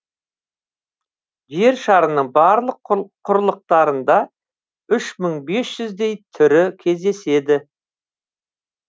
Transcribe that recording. жер шарының барлық құрлықтарында үш мың бес жүздей түрі кездеседі